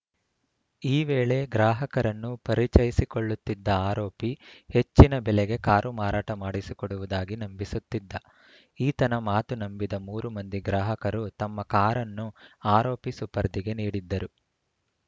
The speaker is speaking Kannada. ಈ ವೇಳೆ ಗ್ರಾಹಕರನ್ನು ಪರಿಚಯಿಸಿಕೊಳ್ಳುತ್ತಿದ್ದ ಆರೋಪಿ ಹೆಚ್ಚಿನ ಬೆಲೆಗೆ ಕಾರು ಮಾರಾಟ ಮಾಡಿಸಿಕೊಡುವುದಾಗಿ ನಂಬಿಸುತ್ತಿದ್ದ ಈತನ ಮಾತು ನಂಬಿದ ಮೂರು ಮಂದಿ ಗ್ರಾಹಕರು ತಮ್ಮ ಕಾರನ್ನು ಆರೋಪಿ ಸುಪರ್ದಿಗೆ ನೀಡಿದ್ದರು